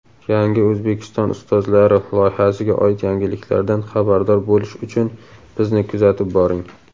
"Yangi O‘zbekiston ustozlari" loyihasiga oid yangiliklardan xabardor bo‘lish uchun bizni kuzatib boring!.